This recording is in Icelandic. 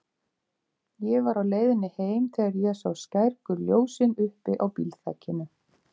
Ég var á leiðinni heim þegar ég sá skærgul ljósin uppi á bílþakinu.